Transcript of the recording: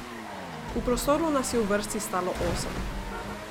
V prostoru nas je v vrsti stalo osem.